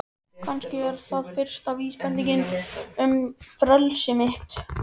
Kannski er það fyrsta vísbendingin um frelsi mitt.